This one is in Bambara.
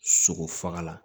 Sogo faga la